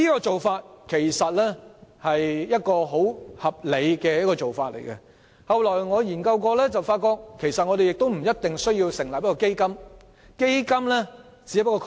這其實是一種相當合理的做法，而我後來亦曾進行研究，發現我們不一定要成立基金，因為基金只是一個概念。